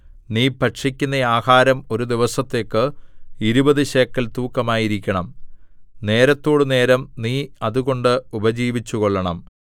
നീ ഭക്ഷിക്കുന്ന ആഹാരം ഒരു ദിവസത്തേക്ക് ഇരുപതു ശേക്കെൽ തൂക്കമായിരിക്കണം നേരത്തോടുനേരം നീ അതുകൊണ്ട് ഉപജീവിച്ചുകൊള്ളണം